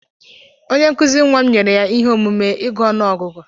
Onye nkụzi nwa m nyere ya ihe omume ịgụ ọnụ ọgụgụ.